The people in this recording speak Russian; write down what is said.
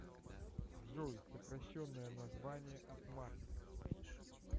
джой сокращенное название от марка